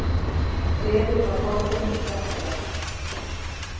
Gleðin var horfin úr Hjaltadal.